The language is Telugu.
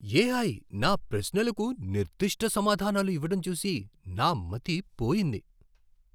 ఏఐ నా ప్రశ్నలకు నిర్దిష్ట సమాధానాలు ఇవ్వడం చూసి నా మతి పోయింది.